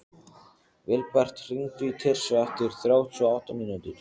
Vilbert, hringdu í Tirsu eftir þrjátíu og átta mínútur.